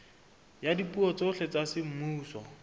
ya dipuo tsohle tsa semmuso